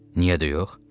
Niyə də yox?